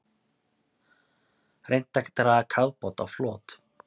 Reynt að draga kafbát á flot